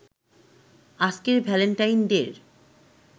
আজকের ভ্যালেন্টাইন ডে’র